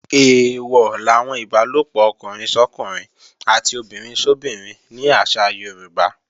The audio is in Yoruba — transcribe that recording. Eèwọ̀ làwọn ìbálòpọ̀ ọkùnrin sọ́kùnrin àti obìnrin sóbinrin ní àṣà Yorùbá